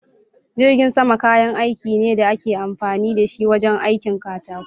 Jirgin sama kayan aiki ne da ake amfani da shi wajen aikin katako.